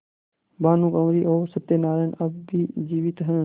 भानुकुँवरि और सत्य नारायण अब भी जीवित हैं